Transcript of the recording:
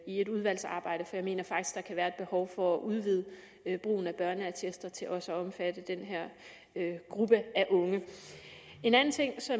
et udvalgsarbejde for jeg mener faktisk der kan være et behov for at udvide brugen af børneattester til også at omfatte den her gruppe af unge en anden ting